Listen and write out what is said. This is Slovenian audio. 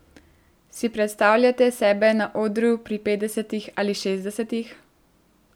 Si predstavljate sebe na odru pri petdesetih ali šestdesetih?